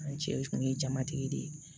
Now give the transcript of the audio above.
An cɛ kun ye jamatigi de ye